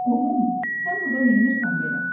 Qohum, sən burda neynirsən belə?